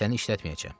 Səni işlətməyəcəm.